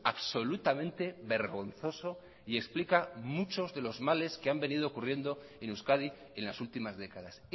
absolutamente vergonzoso y explica muchos de los males que han venido ocurriendo en euskadi en las últimas décadas